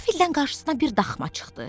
Qəfildən qarşısına bir daxma çıxdı.